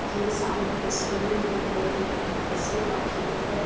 یہ سامنے تشویر مے مکی کی فصل کا کھیت ہے۔